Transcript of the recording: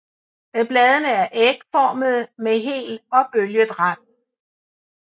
Bladene er ægformede med hel og bølget rand